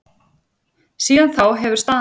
Síðan þá hefur staðan breyst.